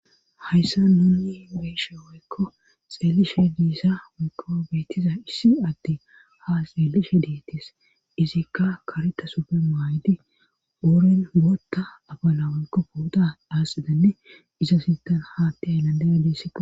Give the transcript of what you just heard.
hayssa nuni beeshe woykko xeelishe diissa woykko beettiza issi atti ha xeelishe deettis izikka kareta supe maaydi ooren wootta abalawoykko puoda daasidanne iza sintan haatti ayllandaya dissaqo